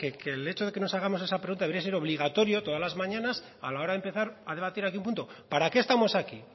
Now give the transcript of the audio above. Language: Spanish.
que el hecho de que nos hagamos esa pregunta debería ser obligatorio todas las mañanas a la hora de empezar a debatir aquí un punto para qué estamos hoy aquí